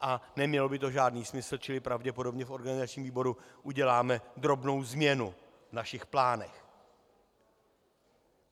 A nemělo by to žádný smysl, čili pravděpodobně v organizačním výboru uděláme drobnou změnu v našich plánech.